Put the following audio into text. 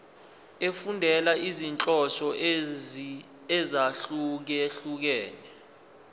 efundela izinhloso ezahlukehlukene